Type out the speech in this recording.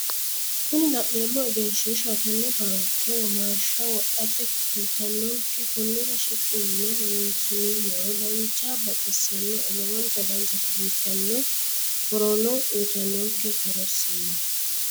Kuni la'neemmohu egenshiishaho tenne baanke womaasha wodhate kaalittanonke konnira shiqqi yine horonsi'nummoro danchaho baxissinoe lowonta danchate biffannono horono uyitanonke horonsi'no